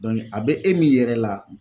a bɛ e min yɛrɛ la